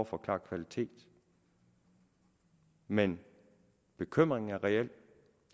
forklare kvalitet men bekymringen er reel